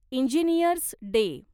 engineers day